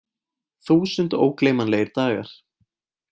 Þúsund ógleymanlegir dagar.